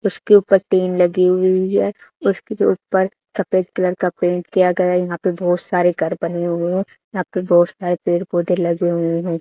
उसके ऊपर टिन लगी हुई है उसके ऊपर सफेद कलर का पेंट किया गया है यहां पे बहुत सारे घर बने हुए हैं यहां पे बहुत सारे पेड़ पौधे लगे हुए हैं।